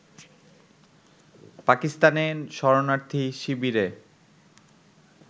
পাকিস্তানে শরণার্থী শিবিরে